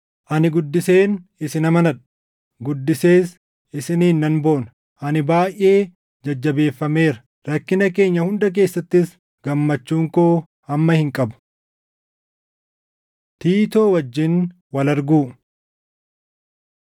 Ani guddiseen isin amanadha; guddisees isiniin nan boona. Ani baayʼee jajjabeeffameera; rakkina keenya hunda keessattis gammachuun koo hamma hin qabu. Tiitoo Wajjin Wal Arguu